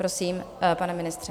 Prosím, pane ministře.